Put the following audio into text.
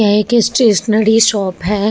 यह एक stationery shop है |